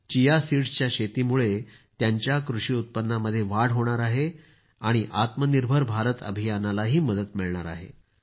chia सीडस्च्या शेतीमुळे त्यांच्या कृषी उत्पन्नामध्ये वाढ होणार आहे आणि आत्मनिर्भर भारत अभियानालाही मदत मिळणार आहे